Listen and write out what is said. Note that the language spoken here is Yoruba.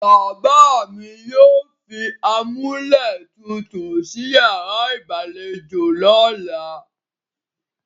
Bàbá mi yóò fi amúlétutù sí yàrá ìgbàlejò lọ́la.